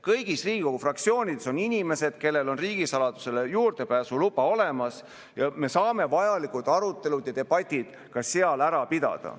Kõigis Riigikogu fraktsioonides on inimesed, kellel on riigisaladusele juurdepääsu luba olemas, ja me saame vajalikud arutelud ja debatid ka seal ära pidada.